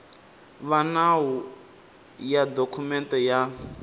va nawu ya dokumende ya